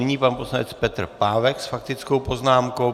Nyní pan poslanec Petr Pávek s faktickou poznámkou.